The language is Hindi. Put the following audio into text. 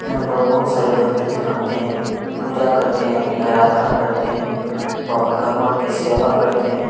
यहाँ पर बहुत सारे भक्तजन आते हैं अपनी पूजा करते हैं अपनी आराधना करते हैं और भगवान की सेवा करते हैं।